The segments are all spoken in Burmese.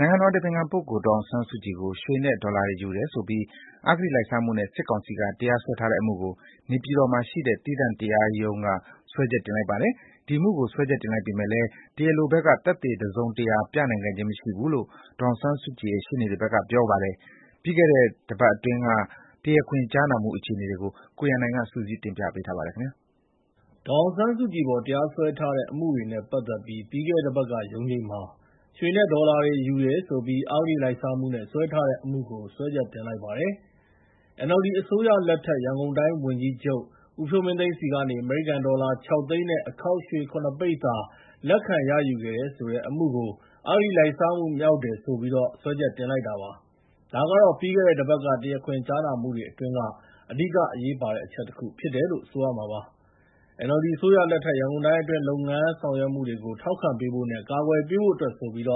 နိုင်ငံတော်အတိုင်ပင်ခံပုဂ္ဂိုလ် ဒေါ်အောင်ဆန်းစုကြည်ကို ရွှေနဲ့ ဒေါ်လာတွေ ယူတယ်ဆိုပြီး အဂတိလိုက်စားမှုနဲ့ စစ်ကောင်စီက တရားစွဲထားတဲ့အမှုကို နေပြည်တော်မှာရှိတဲ့ သီးသန့်တရားရုံးက စွဲချက်တင်လိုက်ပါတယ်။ ဒီအမှုကို စွဲချက်တင်လိုက်ပေမယ့်လည်း တရားလိုဘက်က သက်သေတစုံတရာ ပြသနိုင်ခဲ့ခြင်း မရှိခဲ့ဘူးလို့ ဒေါ်အောင်ဆန်းစုကြည်ရဲ့ ရှေ့နေတွေဘက်က ပြောပါတယ်။ ပြီးခဲ့တဲ့ တပတ်အတွင်းက တရားခွင်ကြားနာမှု အခြေအနေတွေကို ကိုရန်နိုင် စုစည်းတင်ပြပေးထားပါတယ်။ ဒေါ်အောင်ဆန်းစုကြည်အပေါ် တရားစွဲထားတဲ့ အမှုတွေနဲ့ ပတ်သက်ပြီး ပြီးခဲ့တဲ့တပတ်က ရုံးချိန်းမှာ ရွှေနဲ့ ဒေါ်လာ ယူတယ်ဆိုပြီး အဂတိလိုက်စားမှုနဲ့ စွဲထားတဲ့ အမှုကို စွဲချက်တင်လိုက်ပါတယ်။ NLD အစိုးရလက်ထက် ရန်ကုန်တိုင်းဝန်ကြီးချုပ် ဦးဖြိုးမင်းသိန်းဆီကနေ အမေရိကန်ဒေါ်လာ ၆ သိန်းနဲ့ အခေါက်ရွှေ ၇ ပိသာ လက်ခံရယူခဲ့တဲ့ဆိုတဲ့ အမှုကို အဂတိလိုက်စားမှု မြောက်တယ်ဆိုပြီး စွဲချက်တင်လိုက်တာပါ။ ဒါကတော့ ပြီးခဲ့တဲ့တပတ်က တရားခွင်ကြားနာမှုတွေ အတွင်းက အဓိက အရေးပါတဲ့အချက်တခု ဖြစ်တယ်လို့ ဆိုရမှာပါ။ NLD အစိုးရလက်ထက် ရန်ကုန်တိုင်းအတွင်း လုပ်ငန်းဆောင်ရွက်မှုတွေကို ထောက်ခံပေးဖို့နဲ့ ကာကွယ်ပေးဖို့အတွက်ဆိုပြီး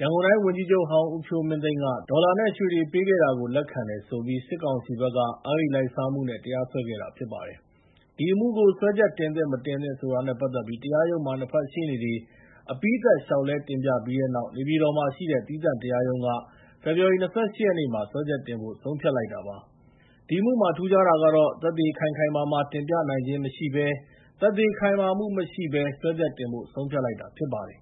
ရန်ကုန်တိုင်းဝန်ကြီးချုပ်ဟောင်း ဦးဖြိုးမင်းသိန်းက ဒေါ်လာနဲ့ ရွှေတွေပေးခဲ့တာကို လက်ခံတယ်ဆိုပြီး စစ်ကောင်စီဘက်က အဂတိလိုက်စားမှုနဲ့ တရားစွဲခဲ့တာ ဖြစ်ပါတယ်။ ဒီအမှုကို စွဲချက်တင်သင့်၊ မတင်သင့်ဆိုတာနဲ့ ပတ်သက်ပြီး တရားရုံးမှာ နှစ်ဖက်ရှေ့နေတွေ အပြီးသတ်လျှောက်လဲ တင်ပြပြီးတဲ့နောက် နေပြည်တော်မှာရှိတဲ့ သီးသန့်တရားရုံးက ဖေဖော်ဝါရီ ၂၈ ရက်နေ့မှာ စွဲချက်တင်ဖို့ ဆုံးဖြတ်လိုက်တာပါ။ ဒီအမှုမှာ ထူးခြားတာကတော့ သက်သေခိုင်ခိုင်မာမာ တင်ပြနိုင်ခြင်းမရှိဘဲ သက်သေခိုင်မာမှု မရှိဘဲနဲ့ စွဲချက်တင်ဖို့ ဆုံးဖြတ်လိုက်တာ ဖြစ်ပါတယ်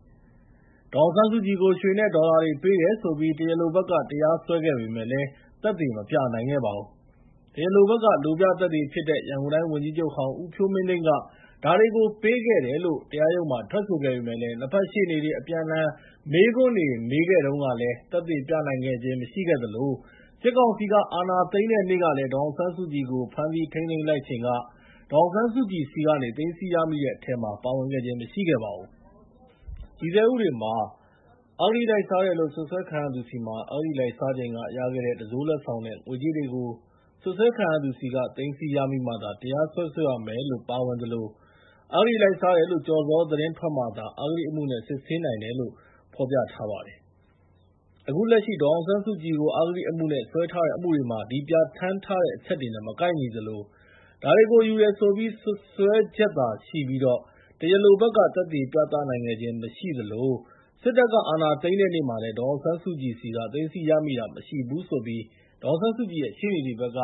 ။ ဒေါ်အောင်ဆန်းစုကြည်ကို ရွှေနဲ့ ဒေါ်လာတွေ ပေးတယ်ဆိုပြီး တရားလိုဘက်က တရားစွဲခဲ့ပေမယ့်လည်း သက်သေမပြနိုင်ခဲ့ပါဘူး။ တရားလိုဘက်က လိုပြသက်သေဖြစ်တဲ့ ရန်ကုန်တိုင်းဝန်ကြီးချုပ်ဟောင်း ဦးဖြိုးမင်းသိန်းက ဒါတွေကို ပေးခဲ့တယ်လို့ ထွက်ဆိုခဲ့ပေမယ့်လည်း နှစ်ဖက်ရှေ့နေတွေ အပြန်အလှည် မေးခွန်းတွေနဲ့ မေးခဲ့တုန်းကလည်း သက်သေပြသနိုင်ခဲ့ခြင်း မရှိခဲ့သလို စစ်ကောင်စီက အာဏာသိမ်းတဲ့နေ့က ဒေါ်အောင်ဆန်းစုကြည်ကို ဖမ်းဆီးထိန်းသိမ်းလိုက်ချိန်ကလည်း ဒေါ်အောင်ဆန်းစုကြည်ဆီကနေ သိမ်းဆည်းရမိတဲ့အထဲမှာ ပါဝင်ခြင်း မရှိခဲ့ပါဘူး။ တည်ဆဲဥပဒေမှာ အဂတိလိုက်စားတယ်လို့ စွပ်စွဲခံရသူဆီမှာ အဂတိလိုက်စားချိန်က ရခဲ့တဲ့ တံစိုးလက်ဆောင်နဲ့ ငွေကြေးတွေကို စွပ်စွဲခံရသူဆီက သိမ်းဆည်းရမိမှာသာ တရားစွဲဆိုရမယ်လို့ ပါဝင်သလို အဂတိလိုက်စားတယ်လို့ ကျော်ဇော်သတင်း ထွက်မှသာ အဂတိအမှုနဲ့ စစ်ဆေးနိုင်တယ်လို့ ဖော်ပြထားပါတယ်။ အခုလက်ရှိ ဒေါ်အောင်ဆန်းစုကြည်ကို အဂတိအမှုနဲ့ စွဲထားတဲ့ အမှုတွေမှာ ဒီပြဋ္ဌာန်းထားတဲ့ အချက်တွေနဲ့ မကိုက်ညီသလို ဒါတွေကို ယူတယ်ဆိုပြီး စွပ်စွဲချက်သာရှိပြီး တရားလိုဘက်က သက်သေပြသနိုင်ခဲ့ခြင်း မရှိသလို စစ်တပ်က အာဏာသိမ်းတဲ့နေ့မှာလည်း ဒေါ်အောင်ဆန်းစုကြည်ဆီက သိမ်းဆည်းရမိတာ မရှိဘူးလို့ ဒေါ်အောင်ဆန်းစုကြည်ရဲ့ ရှေ့နေတွေဘက်က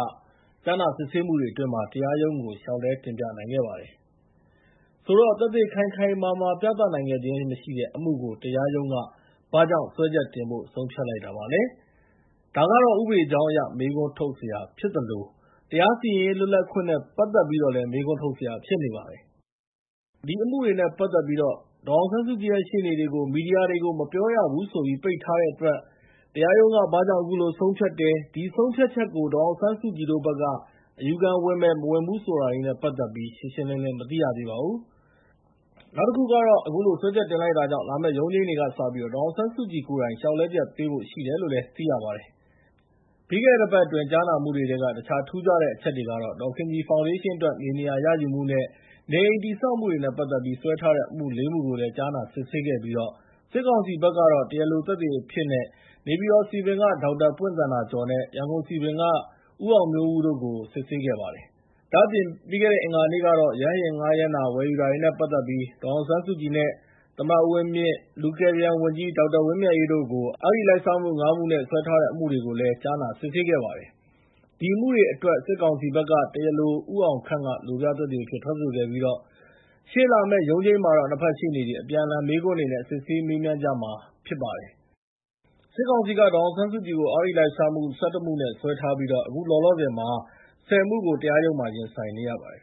ကြားနာစစ်ဆေးမှုတွေအတွင်း တရားရုံးကို လျှောက်လဲတင်ပြနိုင်ခဲ့ကြပါတယ်။ ဆိုတော့ သက်သေခိုင်ခိုင်မာမာ ပြသနိုင်ခဲ့ခြင်းမရှိတဲ့ အမှုကို တရားရုံးက ဘာကြောင့် စွဲချက်တင်ဖို့ ဆုံးဖြတ်လိုက်တာလဲ၊ ဒါကတော့ ဥပဒေကြောင်းအရ မေးခွန်းထုတ်စရာ ဖြစ်သလို တရားစီရင်ရေး လွတ်လပ်ခွင့်နဲ့ ပတ်သက်ပြီးတော့ မေးခွန်းထုတ်စရာ ဖြစ်နေပါတယ်။ ဒီအမှုနဲ့ပတ်သက်ပြီး ဒေါ်အောင်ဆန်းစုကြည်ရဲ့ ရှေ့နေတွေကို မီဒီယာတွေကို မပြောရဘူးဆိုပြီး ပိတ်ထားတဲ့အတွက် တရားရုံးက ဘာကြောင့် အခုလိုဆုံးဖြတ်တယ်၊ ဒီဆုံးဖြတ်ချက်ကို ဒေါ်အောင်ဆန်းစုကြည်တို့ဘက်က အယူခံဝင်မယ်၊ မဝင်ဘူး ဆိုတာတွေနဲ့ ပတ်သက်ပြီး ရှင်းရှင်းလင်းလင်း မသိရသေးပါဘူး။ အခုလို စွဲချက်တင်လိုက်တာကြောင့် လာမယ့်ရုံးချိန်းတွေကစပြီး ဒေါ်အောင်ဆန်းစုကြည်ကိုယ်တိုင် လျှောက်လဲချက်ပေးဖို့ ရှိတယ်လို့လည်း သိရပါတယ်။ ပြီးခဲ့တဲ့ တပတ်အတွင်း ကြားနာမှုတွေထဲက တခြား ထူးခြားတဲ့ အချက်တွေကတော့ ဒေါ်ခင်ကြည်ဖောင်ဒေးရှင်းအတွက် မြေနေရာရယူမှုနဲ့ နေအိမ်တည်ဆောက်မှုတွေနဲ့ ပတ်သက်ပြီး စွဲထားတဲ့အမှု ၄ မှုကိုလည်း ကြားနာစစ်ဆေးခဲ့ပြီးတော့ စစ်ကောင်စီဘက်က တရားလိုသက်သေအဖြစ်နဲ့ နေပြည်တော်စည်ပင်က ဒေါက်တာပွင့်သန္တာကျော်နဲ့ ရန်ကုန်စည်ပင်က ဦးအောင်မျိုးဦးတို့ကို စစ်ဆေးခဲ့ပါတယ်။ ဒါ့အပြင် အင်္ဂါနေ့ကတော့ ရဟတ်ယာဉ်ငှားရမ်းတာ၊ ဝယ်ယူတာတွေနဲ့ ပတ်သက်ပြီး ဒေါ်အောင်ဆန်းစုကြည်နဲ့ သမ္မတ ဦးဝင်းမြင့်၊ လူကယ်ပြန်ဝန်ကြီး ဒေါက်တာဝင်းမြတ်အေးတို့ကို အဂတိ ၅ မှုနဲ့ စွဲထားတဲ့ အမှုတွေကိုလည်း ကြားနာစစ်ဆေးခဲ့ကြပါတယ်။ ဒီအမှုတွေအတွက် စစ်ကောင်စီဘက်က တရားလို ဦးအောင်ခန့်က လိုပြသက်သေအဖြစ်နဲ့ ထွက်ဆိုခဲ့ပြီး ရှေ့လာမယ့် ရုံးချိန်းမှာတော့ နှစ်ဖက်ရှေ့နေတွေ အပြန်အလှန် မေးခွန်းတွေနဲ့ စစ်ဆေးမေးမြန်းကြမှာ ဖြစ်ပါတယ်။ အခုလောလောဆယ်မှာ စစ်ကောင်စီက ဒေါ်အောင်ဆန်းစုကြည်ကို အဂတိလိုက်စားမှု ၁၁ မှုနဲ့ စွဲဆိုထားပြီး အခုလောလောဆယ် ၁၀ မှုကတော့ ရင်ဆိုင်နေရပါတယ်